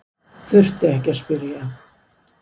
Þurfti ekki að spyrja.